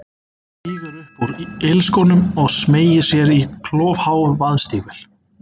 Stígur upp úr ilskónum og smeygir sér í klofhá vaðstígvél.